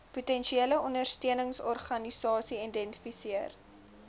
potensiële ondersteuningsorganisasie identifiseer